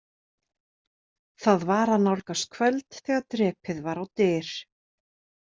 Það var að nálgast kvöld þegar drepið var á dyr.